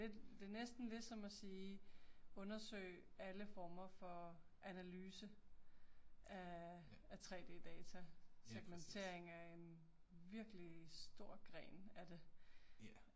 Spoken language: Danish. Det er lidt, det er næsten ligesom at sige undersøg alle former for analyse af af 3D-data. Segmentering er en virkelig stor gren af det